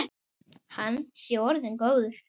Hann sé orðinn góður.